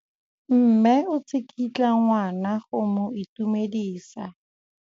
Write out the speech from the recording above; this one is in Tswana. Mme o tsikitla ngwana go mo itumedisa.